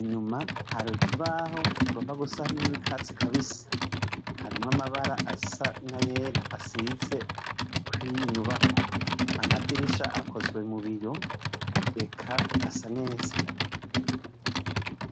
inyuma hari ikibaho kigomboga gusa n'akatsi kabisi harimwo amabara asa n'ayera asize kuriyi nyubakwa amadirisha akozwe mu biyo eka hasa neza.